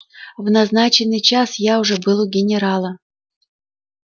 в назначенный час я уже был у генерала